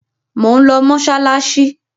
Mò ń lọ mọ́ṣáláṣí.